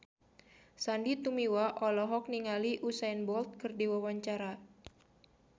Sandy Tumiwa olohok ningali Usain Bolt keur diwawancara